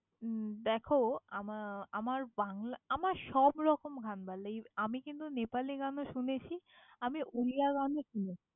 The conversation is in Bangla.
উম দ্যাখো, আমা~ আমার বাংলা, আমার সবরকম গান ভাল্লাগে আমি কিন্তু নেপালি গানও শুনেছি, আমি উড়িয়া গানও শুনেছি।